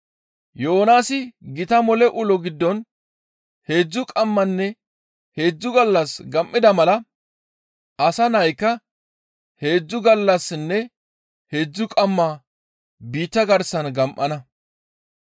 Yoonaasi gita mole ulo giddon heedzdzu qammanne heedzdzu gallas gam7ida mala Asa Naykka heedzdzu gallassinne heedzdzu qamma biitta garsan gam7ana.